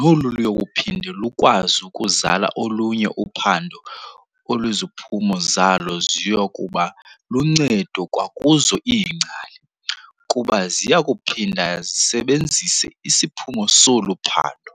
noluyokuphinde lukwazi ukuzala olunye uphando oluziphumo zalo ziyokuba luncedo kwakuzo iingcali, kuba ziyakuphinda zisisebenzise isiphumo solu phando.